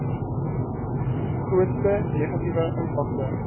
grootste negatiewe impakte